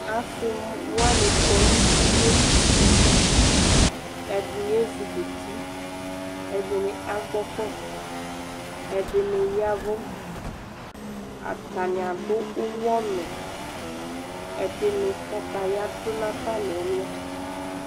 asii wani kɔnʋ ʋmɔli si li, ɛdini ɛzukʋti, ɛdini agbɔ kɔ, ɛdini yavʋ, atani adʋ ʋwɔnʋ, ɛdini kataya dʋnʋ aƒa nʋ ɛlʋ